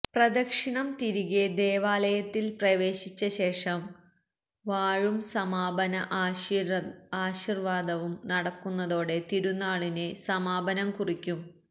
പ്രദക്ഷിണം തിരികെ ദേവാലയത്തില് പ്രവേശിച്ച ശേഷം വാഴ്വും സമാപന ആശീര്വാദവും നടക്കുന്നതോടെ തിരുന്നാളിന് സമാപനം കുറിക്കും